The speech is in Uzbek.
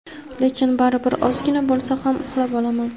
Lekin baribir ozgina bo‘lsa ham uxlab olaman.